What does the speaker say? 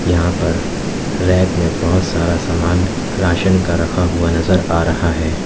यहां पर रैक में बहुत सारा सामान राशन का रखा हुआ नजर आ रहा है।